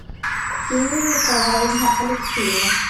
ксения николаевна алексеева